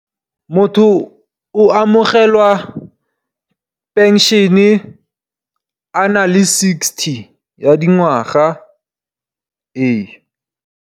Motho o amogela phenšene a na le sixty ya dingwaga ee.